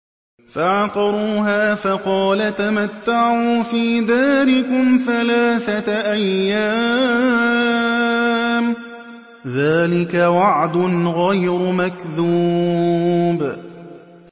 فَعَقَرُوهَا فَقَالَ تَمَتَّعُوا فِي دَارِكُمْ ثَلَاثَةَ أَيَّامٍ ۖ ذَٰلِكَ وَعْدٌ غَيْرُ مَكْذُوبٍ